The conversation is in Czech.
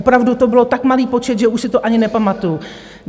Opravdu to byl tak malý počet, že už si to ani nepamatuju.